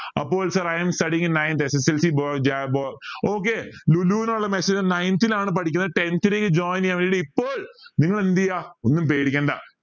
അപ്പോൾ sir i am studying in ninth SSLC okay നുള്ള message ninth ലാണ് പഠിക്കുന്നെ tenth ലേക്ക് join ചെയ്യാൻ വേണ്ടി ഇപ്പോൾ നിങ്ങൾ എന്ത് ചെയ ഒന്നും പേടിക്കണ്ട